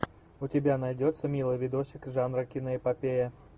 у тебя найдется милый видосик жанра киноэпопея